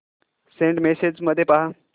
Saint messages मध्ये पहा